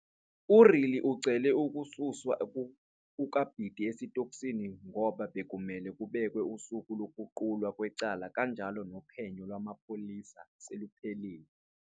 Uriri ucele ukususwa kukaBiti esitokisini ngoba bekumele kubekwe usuku lokuqulwa kwecala kanjalo nophenyo lwamapholisa seluphelile.